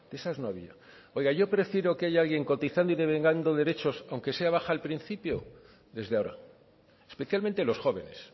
de esas no había oiga yo prefiero que haya alguien cotizando y devengando derechos aunque sea baja al principio desde ahora especialmente los jóvenes